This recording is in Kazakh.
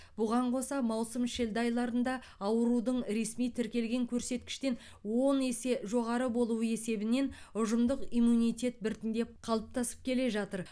бұған қоса маусым шілде айларында аурудың ресми тіркелген көрсеткіштен он есе жоғары болуы есебінен ұжымдық иммунитет біртіндеп қалыптасып келе жатыр